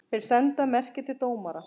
Þeir senda merki til dómara.